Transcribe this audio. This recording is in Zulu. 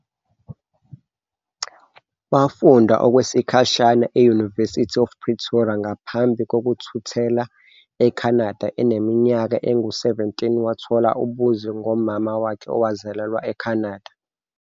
Wafunda okwesikhashana e-University of Pretoria ngaphambi kokuthuthela eCanada eneminyaka engu-17, wathola ubuzwe ngomama wakhe owazalelwa eCanada.